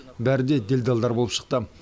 бәрі де делдалдар болып шықты